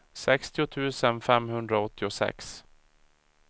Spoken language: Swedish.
sextio tusen femhundraåttiosex